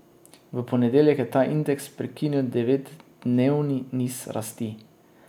V ponedeljek je ta indeks prekinil devetdnevni niz rasti.